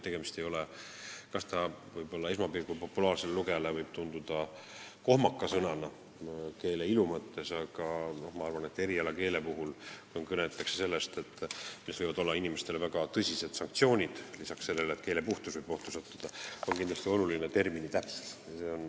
Esmapilgul võib see populaarse kirjanduse lugejale tunduda kohmaka sõnana keele ilu mõttes, aga ma arvan, et erialakeeles, kus kõneldakse väga tõsistest sanktsioonidest, on lisaks sellele, et keele puhtus võib ohtu sattuda, kindlasti oluline termini täpsus.